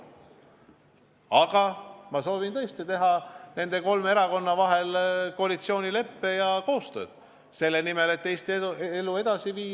Aga ma olen tõesti soovinud sõlmida nende kolme erakonna vahel koalitsioonileppe ja soovin teha koostööd selle nimel, et Eesti elu edasi viia.